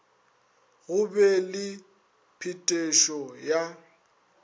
go be le phetošo ya